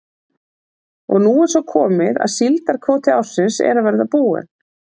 Og nú er svo komið að síldarkvóti ársins er að verða búinn.